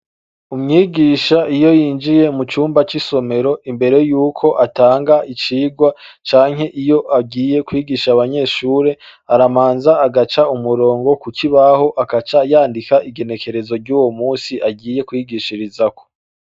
Umwigisha iyo yinjiye mu cumba c'isomero, imbere yuko atanga icigwa canke iyo agiye kwigisha abanyeshure, arababaza agaca umurongo ku kibaho agaca yandika igenekerezo ryuwo musi agiye kwigishirizako.